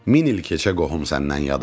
Min il keçə qohum səndən yad olmaz.